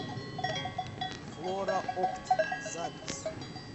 флораопт запись